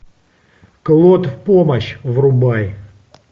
клод в помощь врубай